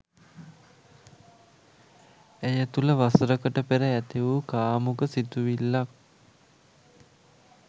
ඇය තුළ වසරකට පෙර ඇති වූ කාමුක සිතුවිල්ලක්